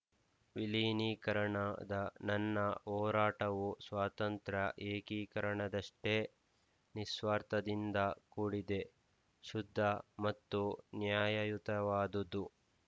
ವಿಲೀನೀಕರಣದ ನನ್ನ ಹೋರಾಟವು ಸ್ವಾತಂತ್ರ್ಯ ಏಕೀಕರಣದಷ್ಟೇ ನಿಸ್ವಾರ್ಥದಿಂದ ಕೂಡಿದೆ ಶುದ್ಧ ಮತ್ತು ನ್ಯಾಯಯುತವಾದುದು